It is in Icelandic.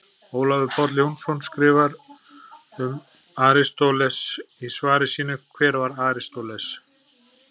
Ólafur Páll Jónsson skrifar um Aristóteles í svari sínu Hver var Aristóteles?